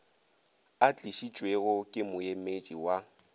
a tlišitšwego ke moemedi wa